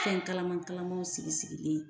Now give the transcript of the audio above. Fɛn kalaman kalamanw sigi sigilen